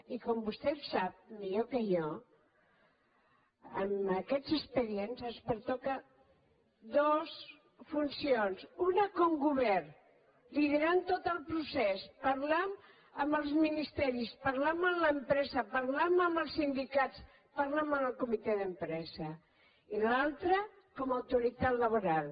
i com vostè sap millor que jo en aquests expedients ens pertoquen dues funcions una com a govern liderant tot el procés parlant amb els ministeris parlant amb l’empresa parlant amb els sindicats parlant amb el comitè d’empresa i l’altra com a autoritat laboral